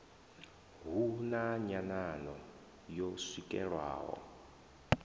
hu na nyanano yo swikelelwaho